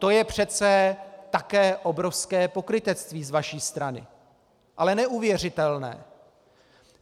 To je přece také obrovské pokrytectví z vaší strany, ale neuvěřitelné!